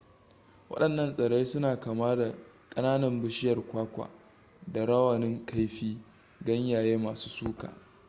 wadannan tsirrai suna kama da kananan bishiyar kwakwa da rawanin kaifi ganyaye masu suka